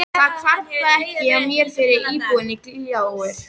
Það hvarflar ekki að mér fyrr en íbúðin gljáir.